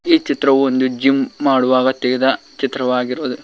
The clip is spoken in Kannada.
ಈ ಚಿತ್ರವು ಒಂದು ಜಿಮ್ ಮಾಡುವಾಗ ತೆಗೆದ ಚಿತ್ರವಾಗಿದೆ.